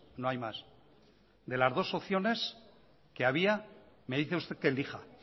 no hay más de las dos opciones que había me dice usted que elija